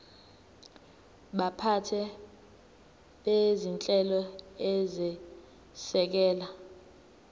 baphathi bezinhlelo ezisekela